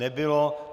Nebylo.